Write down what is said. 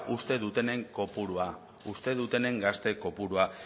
uste dutenen kopurua uste dutenen gazte kopurua